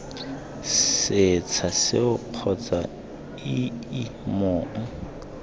setsha seo kgotsa ii mong